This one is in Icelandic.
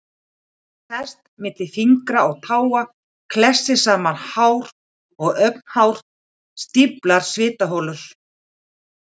Hann sest milli fingra og táa, klessir saman hár og augnhár, stíflar svitaholur.